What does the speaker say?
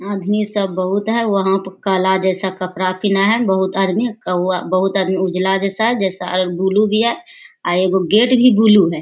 आदमी सब बहुत है वहां पर काला जैसा कपड़ा पिन्हा है बहुत आदमी कौउवा बहुत आदमी उजाला जैसा है जैसा ब्लू भी है अ एगो गेट भी ब्लू है।